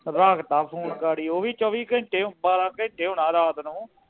ਰੱਖਤਾ ਫੋਨ ਗਾੜੀ ਓਵੀ ਚੋਵੀ ਘੰਟੇ ਬਾਰਾਂ ਘੰਟੇ ਹੋਣਾ ਰਾਤ ਨੂੰ